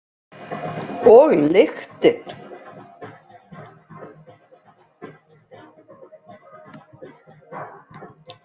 Og lyktin.